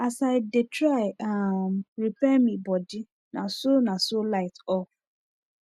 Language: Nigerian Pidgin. as i dey try um repair mi bodi naso naso light off